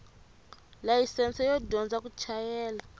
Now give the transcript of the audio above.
layisense yo dyondza ku chayela